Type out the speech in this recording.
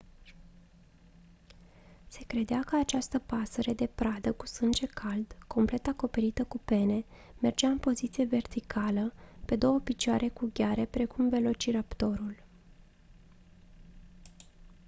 se credea că această pasăre de pradă cu sânge cald complet acoperită cu pene mergea în poziție verticală pe două picioare cu gheare precum velociraptorul